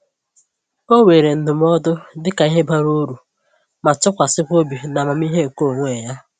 Ọ weere ndụmọdụ dịka ihe bara uru, ma tụkwasịkwa obi na amamihe nke onwe ya.